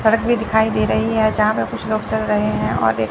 सड़क भी दिखाई दे रही है। जहां पे कुछ लोग चल रहे हैं और एक--